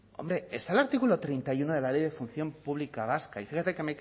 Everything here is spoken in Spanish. hombre está el artículo treinta y uno de la ley de función pública vasca y fíjese que